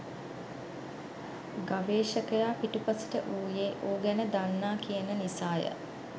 ගවේෂකයා පිටුපසට වූයේ ඌ ගැන දන්නා කියන නිසාය